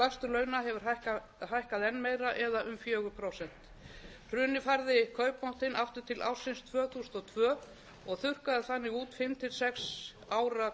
launa hefur hækkað enn meira eða um fjögur prósent hrunið færði kaupmáttinn aftur til ársins tvö þúsund og tvö og þurrkaði þannig út fimm til sex ára